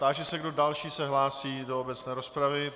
Táži se, kdo další se hlásí do obecné rozpravy.